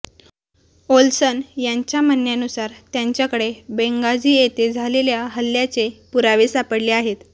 Olsen यांच्या म्हणण्यानुसार त्यांच्याकडे बेंगाझी इथे झालेल्या हल्ल्याचे पुरावे सापडले आहेत